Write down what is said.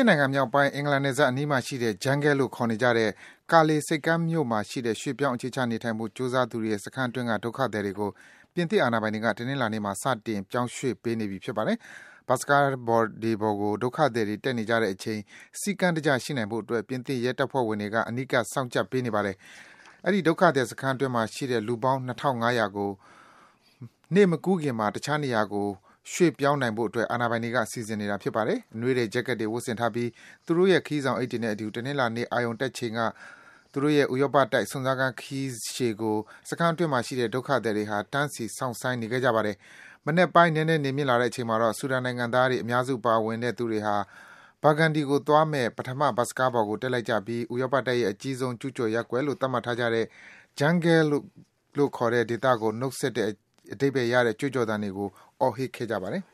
စ်နိုင်ငံမြောက်ပိုင်း အင်္ဂလန် နယ်စပ်အနီးမှာရှိတဲ့ Jungle လို့ ခေါ်နေကြတဲ့ Calais ဆိပ်ကမ်းမြို့မှာရှိတဲ့ ရွေ့ပြောင်း အခြေချနေထိုင်ဖို့ ကြိုးစားသူတွေရဲ့ စခန်းအတွင်းက ဒုက္ခသည်တွေကို ပြင်သစ် အာဏာပိုင်တွေက တနင်္လာနေ့မှာ စတင် ပြောင်းရွေ့နေပြီ ဖြစ်ပါတယ်။ ဘတ်စ်ကားတွေပေါ်ကို ဒုက္ခသည်တွေ တက်နေကြတဲ့အချိန် စည်းကမ်းတကျ ရှိနိုင်ဖို့အတွက် ပြင်သစ် ရဲတပ်ဖွဲ့ဝင်တွေက အနီးကပ် စောင့်ကြပ်ပေးနေပါတယ်။ အဲဒီ ဒုက္ခသည် စခန်းအတွင်းမှာရှိတဲ့ လူပေါင်း ၂,၅၀၀ ကို နေ့မကူးခင်မှာ တခြားနေရာကို ရွေ့ပြောင်းနိုင်ဖို့ အာဏာပိုင်တွေက စီစဉ်နေကြတာပါ။ အနွေးထည် ဂျက်ကက်တွေ ဝတ်ထားပြီး သူတို့ရဲ့ ခရီးဆောင်အိတ်တွေနဲ့အတူ တနင်္လာနေ့ အာရုံတက်ချိန်က သူတို့ရဲ့ ဥရောပတိုက် စွန့်စားခန်း ခရီးရှည်ကို ဆက်ကြဖို့အတွက် ဒုက္ခသည်တွေဟာ တန်းစီ စောင့်ဆိုင်းနေခဲ့ကြတာပါ။ မနက်ပိုင်း နည်းနည်းနေမြင့်လာတဲ့အချိန်မှာတော့ ဆူဒန်နိုင်ငံသားတွေ အများစုပါဝင်တဲ့ သူတွေဟာ Burgandy ကို သွားမယ့် ပထမ ဘတ်စ်ကားပေါ်ကို တက်လိုက်ကြပြီး ဥရောပတိုက်ရဲ့ အကြီးဆုံး ကျူးကျော်ရပ်ကွက်လို့ သတ်မှတ်ထားကြတဲ့ Jungle ကို နှုတ်ဆက်ပါတယ်လို့ အဓိပ္ပါယ်ရတဲ့ ကြွေးကြော်သံတွေကို အော်ဟစ်ခဲ့ကြပါတယ်